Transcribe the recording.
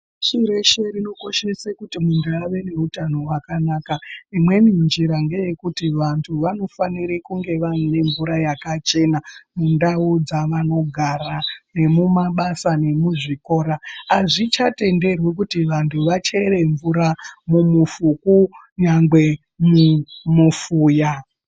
Shireshe rinokoshese kuti muntu ave neutano hwakanaka Imweni njira ngeye kuti vantu vanofanire kunge vane mvura yakachena mundau dzavanogara nemumabasa nemuzvikora azvichatenderwi kuti vantu vachere mvura mumufuku nyangwe mumufuya.